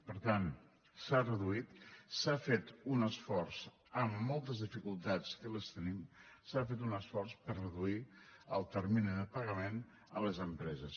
per tant s’ha reduït s’ha fet un esforç amb moltes dificultats que les tenim s’ha fet un esforç per reduir el termini de pagament a les empreses